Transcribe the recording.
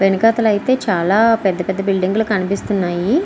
వెనకాతలైతే చాలా పెద్ద పెద్ద బిల్డింగు లు కనిపిస్తున్నాయి.